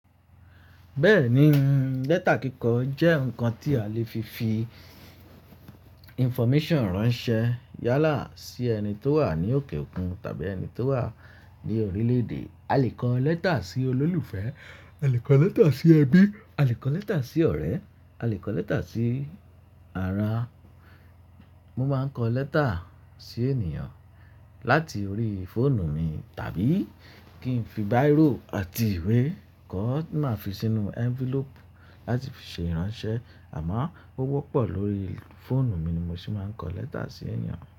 Bẹ́ẹ̀ni, lẹ́tà kíkọ jẹ́ nǹkan tí a lè fi fi information ránṣẹ́ yálà sí ẹni tó wà ní òkè òkun tàbí ẹni tó wà ní orílẹ̀-èdè. A lè kọ lẹ́tà sí olólùfẹ́, a lè kọ lẹ́tà sí ẹbí, a lè kọ lẹ́tà sí ọ̀rẹ́, a lè kọ lẹ́tà sí ara. Mo máa ń kọ lẹ́tà sí ènìyàn láti orí fóònù mi tàbí kí n fi bírò àti ìwé kọ, máa fi sínú envelope láti fi ṣe ìránṣẹ́. Àmọ́ ó wọ́pọ̀ lórí fóònù mi ni mo sì máa ń kọ lẹ́tà sí ènìyàn.